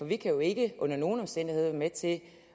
vi kan jo ikke under nogen omstændigheder være med til